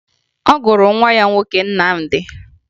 Ọ gụrụ nwa ya nwoke Nnamdi